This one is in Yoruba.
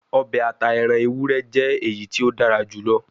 Obe ata eran ewurẹ jẹ eyiti o dara julọ